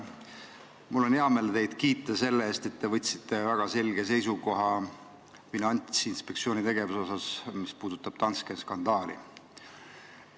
Mul on hea meel teid kiita selle eest, et te võtsite väga selge seisukoha Finantsinspektsiooni tegevuse osas, mis puudutab Danske skandaali.